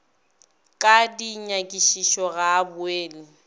ka dinyakišišo ga a boele